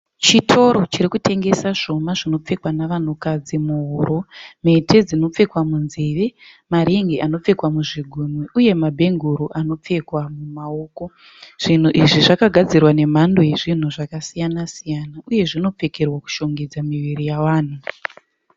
Chitoro chiri kutengesa zvuma zvinopfekwa nevanhukadzi muhuro, mhete dzinopfekwa munzeve, maringi anopfekwa muzvigunwe uye mabhenguro anopfekwa mumaoko. Zvinhu izvi zvakadzirwa nemhando yezvinhu zvakasiyana siyana uye zvinopfekerwa kudhongedza miviri yavanhu.